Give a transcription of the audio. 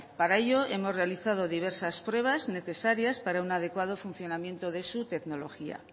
para ello hemos realizado diversas pruebas necesarias para un adecuado funcionamiento de su tecnología